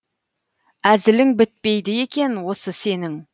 әзілің бітпейді екен осы сенің